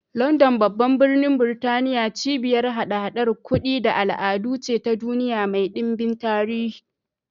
London, babban birnin Burtaniya, cibiyar haɗa-haɗar kudi da al'adu ce ta duniya mai ɗimbin tarihi.